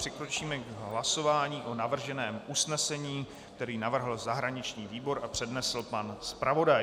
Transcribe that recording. Přikročíme k hlasování o navrženém usnesení, které navrhl zahraniční výbor a přednesl pan zpravodaj.